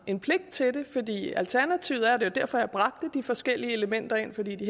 en pligt til det fordi alternativet er og det var derfor jeg bragte de forskellige elementer ind fordi det